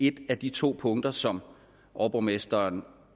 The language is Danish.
et af de to punkter som overborgmesteren